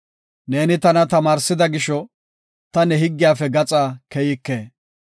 Neeni tana tamaarsida gisho, ta ne higgiyafe gaxa keyike.